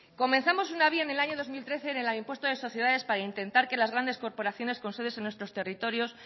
comenzamos una vía en el año dos mil trece en la del impuesto de sociedad para intentar que las grandes corporaciones con sedes en nuestros territorios